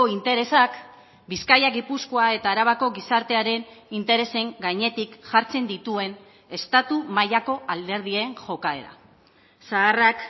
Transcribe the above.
interesak bizkaia gipuzkoa eta arabako gizartearen interesen gainetik jartzen dituen estatu mailako alderdien jokaera zaharrak